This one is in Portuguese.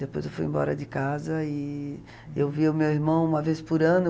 Depois eu fui embora de casa e eu via o meu irmão uma vez por ano.